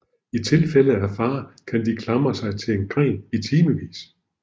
I tilfælde af fare kan de klamre sig til en gren i timevis